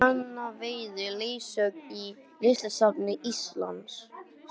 Anna veitir leiðsögn í Listasafni Íslands